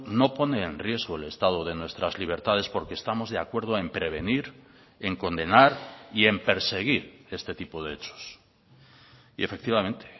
no pone en riesgo el estado de nuestras libertades porque estamos de acuerdo en prevenir en condenar y en perseguir este tipo de hechos y efectivamente